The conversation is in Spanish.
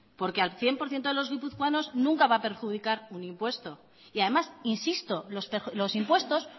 porque al cien por ciento de los guipuzcoanos nunca va a perjudicar un impuesto y además insisto los impuestos